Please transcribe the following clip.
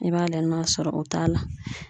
I b'a layɛ n'a sɔrɔ o t'a la.